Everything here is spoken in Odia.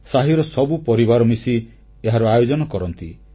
ସାହିର ସବୁ ପରିବାର ମିଶି ଏହାର ଆୟୋଜନ କରନ୍ତି